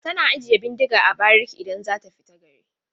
A'a, tana ajiye bindiga a bariki idan za ta fita gari.